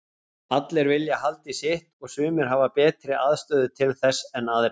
Allir vilja halda í sitt og sumir hafa betri aðstöðu til þess en aðrir.